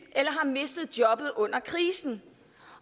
eller har mistet jobbet under krisen